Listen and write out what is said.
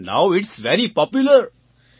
so now it's very popular